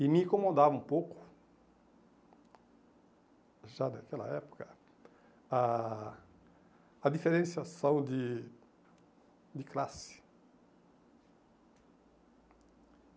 E me incomodava um pouco, já daquela época, a a diferenciação de de classe.